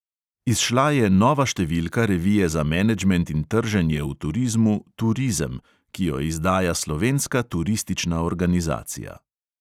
Izšla je nova številka revije za menedžment in trženje v turizmu turizem, ki jo izdaja slovenska turistična organizacija.